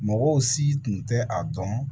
Mɔgɔw si tun tɛ a dɔn